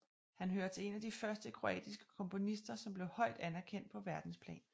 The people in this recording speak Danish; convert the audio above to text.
Han hører til en af de første Kroatiske komponister som blev højt anererkendt på Verdensplan